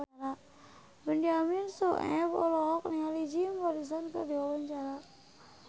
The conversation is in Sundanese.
Benyamin Sueb olohok ningali Jim Morrison keur diwawancara